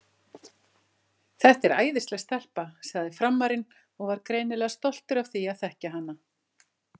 Þetta er æðisleg stelpa, sagði Frammarinn og var greinilega stoltur af því að þekkja hana.